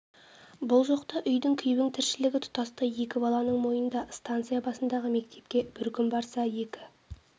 бұл жоқта үйдің күйбің тіршілігі тұтастай екі баланың мойнында станция басындағы мектепке бір күн барса екі